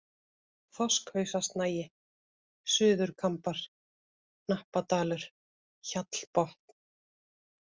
Þorskhausasnagi, Suðurkambar, Hnappadalur, Hjallbotn